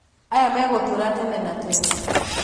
aya megũtũra tene na tene